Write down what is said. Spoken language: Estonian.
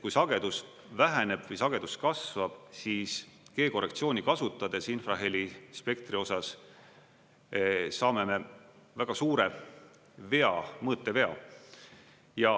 Kui sagedus väheneb või sagedus kasvab, siis G-korrektsiooni kasutades infrahelispektri osas saame väga suure vea, mõõtevea.